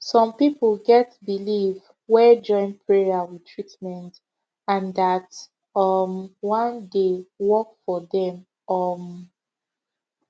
some people get belief wey join prayer with treatment and dat um one dey work for dem um